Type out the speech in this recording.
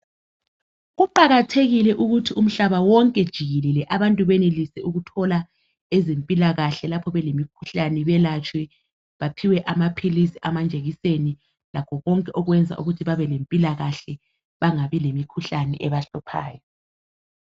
Kuqakathekile ukuthi umhlaba wonke jikelele abantu benelise ukuthola ezempilakahle lapho belemikhuhlane belatshwe baphiwe amaphilisi amajekiseni lakho konke okwenza ukuthi babe lempilakahle bengabi lemikhuhlane ebahluphayo.